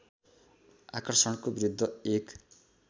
आकर्षणको विरुद्ध एक